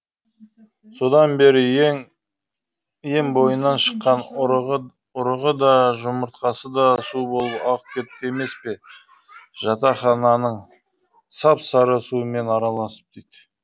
содан бері өн бойынан шыққан ұрығы да жұмыртқасы да су болып ағып кетті емес пе жатақхананың сап сары суымен араласып